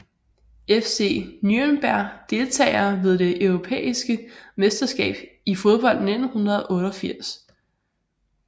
FC Nürnberg Deltagere ved det europæiske mesterskab i fodbold 1988